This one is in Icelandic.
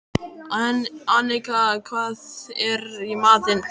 Annika, hvað er í matinn?